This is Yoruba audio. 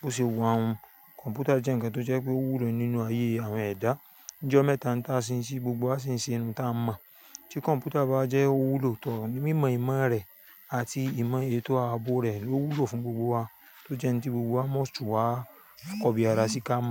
Bo ṣe wa un. Kọ̀ǹpútà jẹ́ ǹkan tó jẹ́ pé ó wúlò nínú ayé àwọn ẹ̀dá. Nijo mẹ́ta n ta sì ń ṣe, gbogbo wa sì ń ṣe n ta n mọ̀. Tí kọ̀ǹpútà bá jẹ́ ó wúlò tọ̀, mímọ ìmo rẹ̀ àti ìmọ ètò ààbò rẹ̀ ò wúlò fún gbogbo wa, tó jẹ́ n tí gbogbo wa mọ̀ tun wa kọ bí ara sí ká.